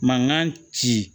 Mankan ci